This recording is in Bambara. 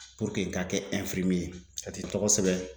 i ka kɛ ye, ka t'i tɔgɔ sɛbɛn.